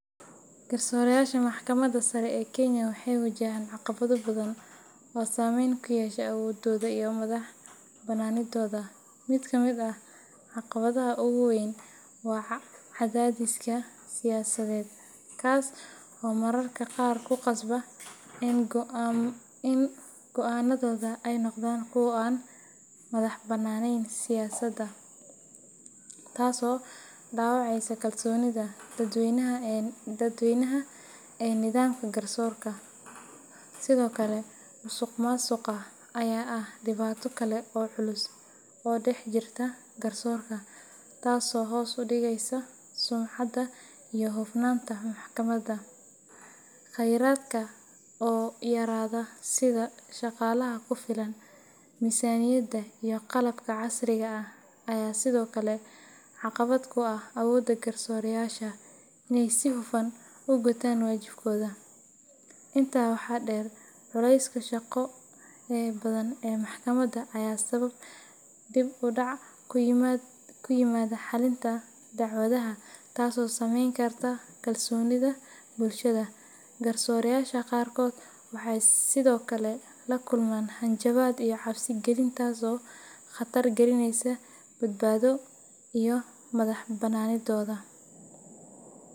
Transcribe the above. Garsoorayaasha Maxkamadda Sare ee Kenya waxay wajahaan caqabado badan oo saameyn ku yeesha awoodooda iyo madax-bannaanidooda. Mid ka mid ah caqabadaha ugu waa weyn waa cadaadiska siyaasadeed, kaas oo mararka qaar ku qasba in go’aannadooda ay noqdaan kuwo aan ka madaxbannaanayn siyaasadda, taasoo dhaawacaysa kalsoonida dadweynaha ee nidaamka garsoorka. Sidoo kale, musuqmaasuqa ayaa ah dhibaato kale oo culus oo dhex jirta garsoorka, taasoo hoos u dhigaysa sumcadda iyo hufnaanta maxkamadda. Khayraadka oo yaraada sida shaqaalaha ku filan, miisaaniyadda iyo qalabka casriga ah ayaa sidoo kale caqabad ku ah awoodda garsoorayaasha inay si hufan u gutaan waajibaadkooda. Intaa waxaa dheer, culayska shaqo ee badan ee maxkamadda ayaa sababa dib u dhac ku yimaada xallinta dacwadaha, taasoo saameyn karta kalsoonida bulshada. Garsoorayaasha qaarkood waxaa sidoo kale la kulma hanjabaad iyo cabsi gelin taas oo khatar gelinaysa badbaadadooda iyo madax-bannaanidooda.